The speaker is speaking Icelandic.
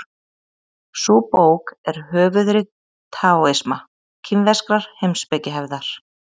Sú bók er höfuðrit taóisma, kínverskrar heimspekihefðar.